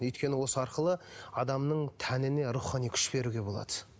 өйткені осы арқылы адамның тәніне рухани күш беруге болады